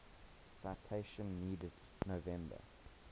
citation needed november